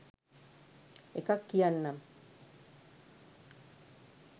එකක් කියන්නම්